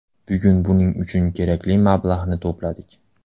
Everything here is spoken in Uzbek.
Bugun buning uchun kerakli mablag‘ni to‘pladik.